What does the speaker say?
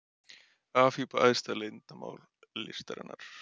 Afhjúpa æðsta leyndarmál listarinnar